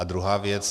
A druhá věc.